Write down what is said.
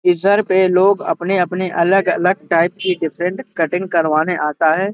पे लोग अपने-अपने अलग-अलग टाइप की डिफरेंट कटिंग करवाने आता है।